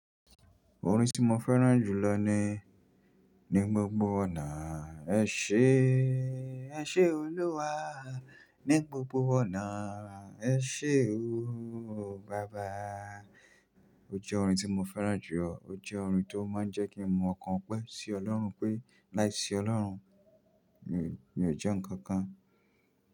Orin tí mo fẹ́ràn jù lọ ni, ni gbogbo ọ̀nà ẹ ṣé, ẹ ṣé Olúwa, ní gbogbo ọ̀nà ẹ ṣé o Baba. O jẹ́ orin tí mo fẹ́ràn jù, o jẹ́ orin tí ó máa ń jẹ́ kí n mọ̀ ọkàn pẹ́ sí Ọlọ́run pé láìsí Ọlọ́run mi ò jẹ́ ǹkan kan.